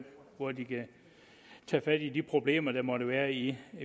hvor de kan tage fat i de problemer der måtte være i